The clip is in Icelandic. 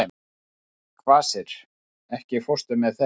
Kvasir, ekki fórstu með þeim?